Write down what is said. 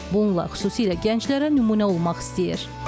Bununla xüsusilə gənclərə nümunə olmaq istəyir.